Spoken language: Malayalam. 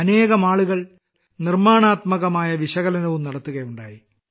അനേകമാളുകൾ നിർമ്മാണപരമായ വിശകലനവും നടത്തുകയുണ്ടായി